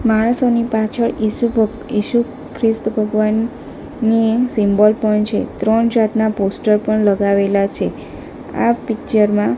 માણસોની પાછળ ઈસુ ભ ઈશુ ખ્રિસ્ત ભગવાનની સિમ્બોલ પણ છે ત્રણ જાતના પોસ્ટર પણ લગાવેલા છે આ પિક્ચર માં --